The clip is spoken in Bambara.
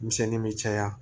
Misɛn bɛ caya